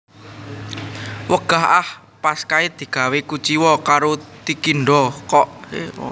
Wegah ah pas kae digawe kuciwa karo Tikindo kok